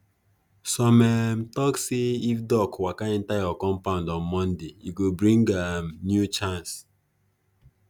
some um tok say if duck waka enter your compound on monday e go bring um new chance